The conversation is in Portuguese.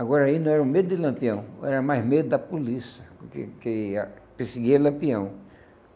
Agora aí não era o medo de Lampião, era mais medo da polícia, porque que a perseguia Lampião.